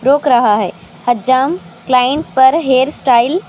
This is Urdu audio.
روک رہا ہے حجام کلائنٹ پر ہیئر سٹائل.